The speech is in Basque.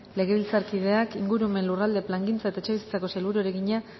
legebiltzarkideak ingurumen lurralde plangintza eta etxebizitzako sailburuari egina